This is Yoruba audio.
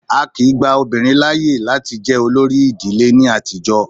Á kìí gba obìnrin láàyè láti jẹ olórí ìdílé ní àtijọ́.